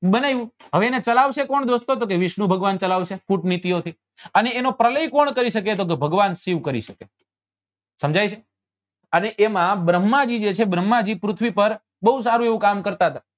બનાવ્યું હવે એને ચલાવશે કોણ દોસ્તો તો કે વિષ્ણુ ભગવાન ચલાવશે કૂટ નીતિઓ થી અને એનો પ્રલય કોણ કરી શકે તો કે ભગવાન શિવ કરી શકે સમજાય છે અને એમાં ભ્રમ્હા જી જે છે એ ભ્રમ્હા જી પૃથ્વી પર બઉ સારું એવું કામ કરતા હતા